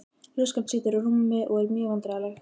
Ljóskan situr á rúmi og er mjög vandræðaleg.